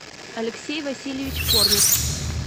алексей васильевич корнев